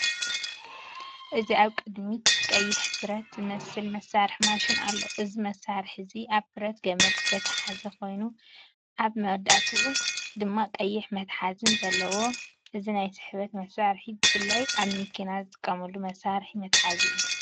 እዚ ኣብ ቅድሚት ቀይሕን ብረት ዝመስልን መሳርሒ ማሽን ኣሎ። እዚ መሳርሒ እዚ ኣብ ብረት ገመድ ዝተተሓሓዘ ኮይኑ፡ ኣብ መወዳእታኡ ድማ ቀይሕ መትሓዚን ኣለዎ እዚ ናይ ስሕበት መሳርሒ ብፍላይ ኣብ መኪና ዝጥቀመሉ መሳርሒ መትሓዚ እዩ።